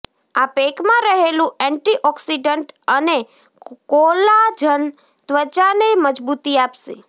આ પેકમાં રહેલું એન્ટી ઓક્સિડન્ટ અને કોલાજન ત્વચાને મજબૂતી આપશે